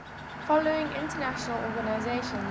following international organizations